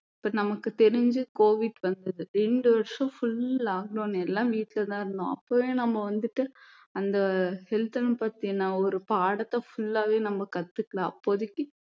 இப்போ நமக்கு தெரிஞ்சு covid வந்தது ரெண்டு வருஷம் full lockdown எல்லாம் வீட்டுலதான் இருந்தோம் அப்பவும் நம்ம வந்துட்டு அந்த health அ பத்தின ஒரு பாடத்தை full லாவே நம்ம கத்துக்கல அப்போதைக்கு